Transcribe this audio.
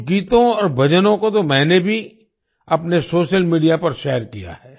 कुछ गीतों और भजनों को तो मैंने भी अपने सोशल मीडिया पर शेयर किया है